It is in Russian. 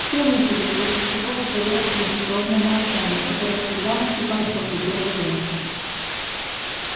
все выпили после чего воцарилось традиционное молчание которое всегда наступает после первой рюмки